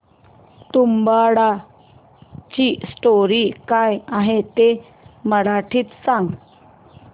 तुंबाडची स्टोरी काय आहे ते मराठीत सांग